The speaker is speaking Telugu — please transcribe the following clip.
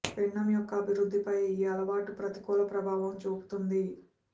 పిండం యొక్క అభివృద్ధిపై ఈ అలవాటు ప్రతికూల ప్రభావం చూపుతుంది